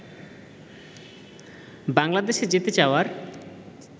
বাংলাদেশে যেতে চাওয়ার